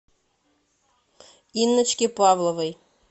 инночке павловой